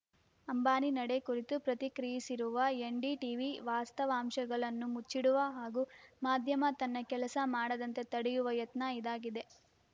ಅಂಬಾನಿ ನಡೆ ಕುರಿತು ಪ್ರತಿಕ್ರಿಯಿಸಿರುವ ಎನ್‌ಡಿಟೀವಿ ವಾಸ್ತವಾಂಶಗಳನ್ನು ಮುಚ್ಚಿಡುವ ಹಾಗೂ ಮಾಧ್ಯಮ ತನ್ನ ಕೆಲಸ ಮಾಡದಂತೆ ತಡೆಯುವ ಯತ್ನ ಇದಾಗಿದೆ